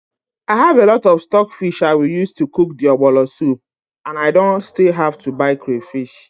I have a lot of stockfish I will use to cook the ọgbọlọ soup and I don't still have to buy crayfish.